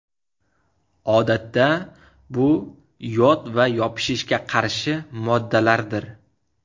Odatda bu yod va yopishishga qarshi moddalardir.